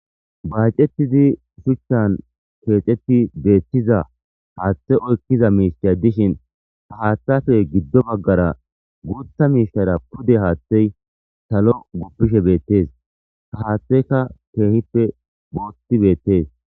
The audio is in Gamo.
Baacettidi shuchan keexetti beettiza haathe oykkiza miisha dishin ta hathafe giddo baggara guutha miishara pude haaththey talo guppishe beettees ta haatheyka keehippe boothi beettees